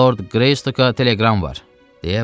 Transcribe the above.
Lord Greystoke-a teleqram var!